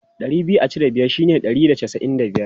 Ɗari biyu a cire biyar shine ɗari da casa'in da biyar.